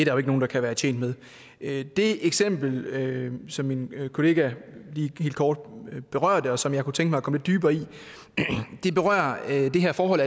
jo ikke nogen der kan være tjent med det eksempel som min kollega lige kort berørte og som jeg kunne tænke mig at gå lidt dybere ned i berører det her forhold